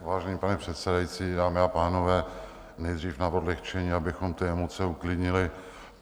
Vážený pane předsedající, dámy a pánové, nejdřív na odlehčení, abychom ty emoce uklidnili.